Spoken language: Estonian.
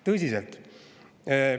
Tõsiselt!